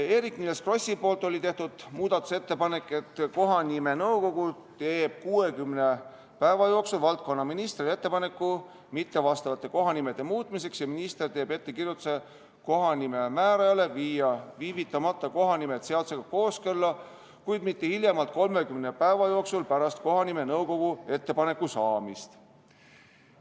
Eerik-Niiles Kross oli teinud muudatusettepaneku, et kohanimenõukogu teeks 60 päeva jooksul valdkonna ministrile ettepaneku mittevastavate kohanimede muutmiseks ja minister teeks kohanimemäärajale ettekirjutuse viia kohanimed viivitamata seadusega kooskõlla, kuid mitte hiljem kui 30 päeva jooksul pärast kohanimenõukogult ettepaneku saamist.